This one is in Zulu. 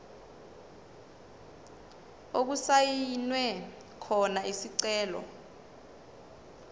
okusayinwe khona isicelo